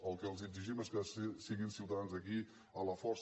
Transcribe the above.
el que els exigim és que siguin ciutadans d’aquí a la força